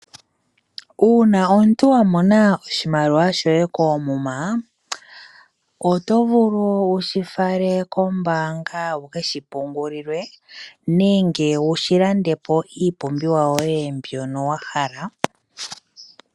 Uuna omuntu wamona oshimaliwa shoye koomuma, oto vulu wushi fale kombanga wuke shipungulilwe nenge wushilandepo iipumbiwa yoye mbyono wahala.